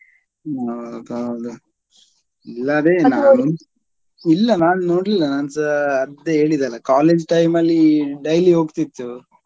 ಹೌದೌದು ಇಲ್ಲ ಅದೇ ಇಲ್ಲ ನಾನ್ ನೋಡ್ಲಿಲ್ಲ ನಾನ್ಸ ಅದ್ದೇ ಹೇಳಿದಲ್ಲ college time ಅಲ್ಲಿ daily ಹೊಗ್ತಿತ್ತು.